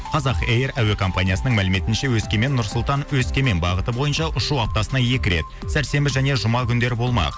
қазақ эйр әуекомпаниясының мәліметінше өскемен нұр сұлтан өскемен бағыты бойынша ұшу аптасына екі рет сәрсенбі және жұма күндері болмақ